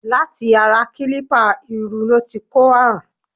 Láti ara kílípà iru ló ti kó àrùn.